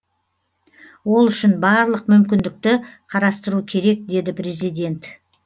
ол үшін барлық мүмкіндікті қарастыру керек деді президент